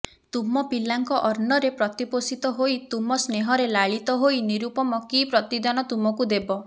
ତୁମ ପିଲାଙ୍କ ଅନ୍ନରେ ପ୍ରତିପୋଷିତ ହୋଇ ତୁମ ସ୍ନେହରେ ଲାଳିତ ହୋଇ ନିରୁପମ କି ପ୍ରତିଦାନ ତୁମକୁ ଦେବ